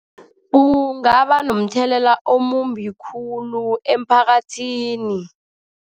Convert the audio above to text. Kungaba nomthelela omumbi khulu emphakathini.